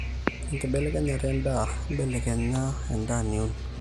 enkibelekenyata endaa. imbelibelekeny endaa niun